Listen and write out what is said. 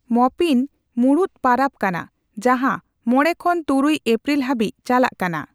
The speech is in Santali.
ᱢᱚᱯᱤᱱ ᱢᱩᱬᱩᱫ ᱯᱟᱨᱟᱵᱽ ᱠᱟᱱᱟ ᱡᱟᱦᱟᱸ ᱢᱚᱲᱮ ᱠᱷᱚᱱ ᱛᱩᱨᱩᱭ ᱮᱯᱨᱤᱞ ᱦᱟᱹᱵᱤᱡ ᱪᱟᱞᱟᱜ ᱠᱟᱱᱟ ᱾